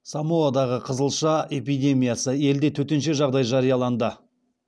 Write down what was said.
самоадағы қызылша эпидемиясы елде төтенше жағдай жарияланды